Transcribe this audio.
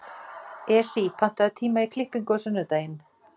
Esí, pantaðu tíma í klippingu á sunnudaginn.